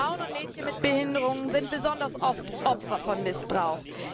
Frauen und Mädchen mit Behinderungen sind besonders oft Opfer von Missbrauch.